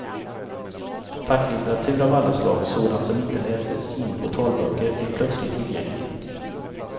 Facklitteratur av alla slag, sådant som inte läses in på talböcker, blir plötsligt tillgänglig.